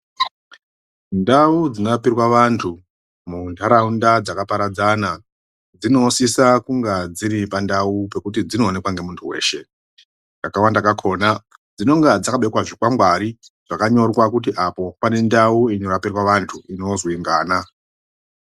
Ndau dzinorapirwa vanthu muntharaunda dzakaparadzana dzinosisa kunge dziri pandau pekuti dzinoonekwa nunthu weshe pamweni pakona dzinenge dzakabekwa zvikangwari zvakanyorwa kuti apo pane ndau inorapirwa vanthu inozwi ngana.